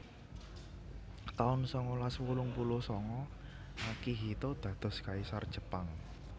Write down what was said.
taun sangalas wolung puluh sanga Akihito dados Kaisar Jepang